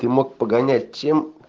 ты мог погонять чем